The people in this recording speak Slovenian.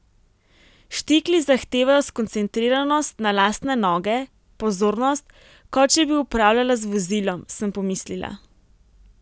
Štikli zahtevajo skoncentriranost na lastne noge, pozornost, kot če bi upravljala z vozilom, sem pomislila.